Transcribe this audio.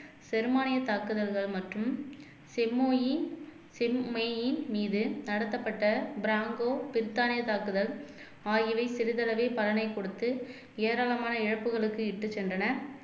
ஜெர்மானிய தாக்குதல்கள் மற்றும் செம்மொழி செம்மெயின் மீது நடத்தப்பட்ட ப்ராங்கோ பிரித்தானிய தாக்குதல் ஆகியவை சிறிதளவே பலனைக் கொடுத்து ஏராளமான இழப்புகளுக்கு இட்டுச் சென்றன